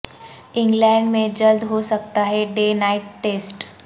England میں جلد ہو سکتا ہے ڈے نائٹ ٹیسٹ